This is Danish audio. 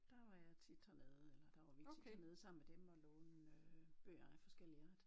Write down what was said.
Der var jeg tit hernede eller der var vi tit hernede sammen med dem og låne bøger af forskellig art